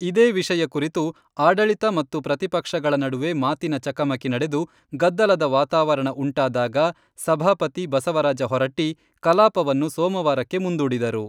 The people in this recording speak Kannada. ಇದೇ ವಿಷಯ ಕುರಿತು ಆಡಳಿತ ಮತ್ತು ಪ್ರತಿಪಕ್ಷಗಳ ನಡುವೆ ಮಾತಿನ ಚಕಮಕಿ ನಡೆದು, ಗದ್ದಲದ ವಾತಾವರಣ ಉಂಟಾದಾಗ ಸಭಾಪತಿ ಬಸವರಾಜ ಹೊರಟ್ಟಿ ಕಲಾಪವನ್ನು ಸೋಮವಾರಕ್ಕೆ ಮುಂದೂಡಿದರು.